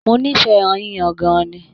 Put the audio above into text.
Mó n'ifẹ ẹran yíyan gan-an ni.